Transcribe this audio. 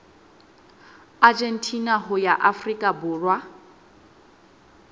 argentina ho ya afrika borwa